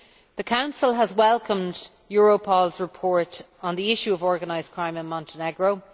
The Council has welcomed Europol's report on the issue of organised crime in Montenegro.